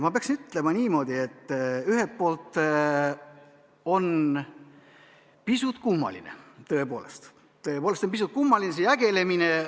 Ma peaksin ütlema niimoodi, et ühelt poolt on pisut kummaline tõepoolest, tõepoolest on pisut kummaline see jagelemine.